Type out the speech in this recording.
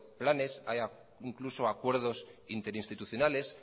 planes hay incluso acuerdos interinstitucionales